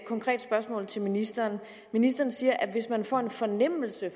konkret spørgsmål til ministeren ministeren siger at hvis man får en fornemmelse